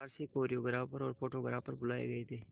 बाहर से कोरियोग्राफर और फोटोग्राफर बुलाए गए थे